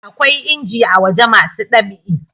akwai inji a waje masu ɗab'i